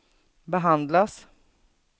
behandlas